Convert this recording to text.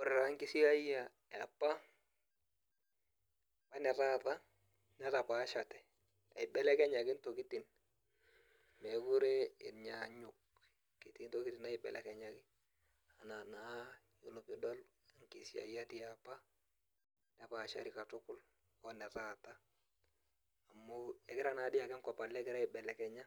Ore taa nkisiayia etaata weniapa netapaashate , eibelekenyaki intokitin mookire enyaanyuk , etii ntokitin naibelekenyaki ina naa pidol nkisiayiak eapa nepaashari katukul oene taata amu egira naadi ake enkop alo egira aibelekenya ,